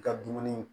I ka dumuni